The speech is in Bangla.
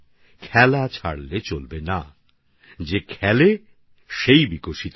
খেলা ছাড়বেন না কারণ যে খেলে সে প্রস্ফুটিত হয়